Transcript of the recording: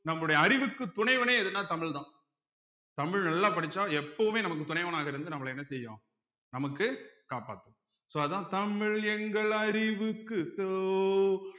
நம்முடைய அறிவுக்கு துணைவனே எதுனா தமிழ்தான் தமிழ் நல்லா படிச்சா எப்பவுமே நமக்கு துணைவனாக இருந்து நம்மளை என்ன செய்யும் நமக்கு காப்பாத்தும் so அதான் தமிழ் எங்கள் அறிவுக்கு தோல்